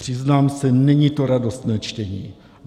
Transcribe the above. Přiznám se, není to radostné čtení.